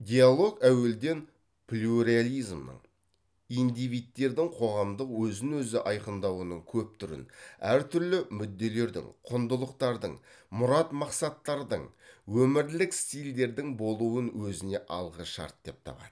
диалог әуелден плюрализмнің индивидтердің қоғамдық өзін өзі айқындауының көп түрін әртүрлі мүдделердің құндылықтардың мұрат мақсаттардың өмірлік стильдердің болуын өзіне алғышарт деп табады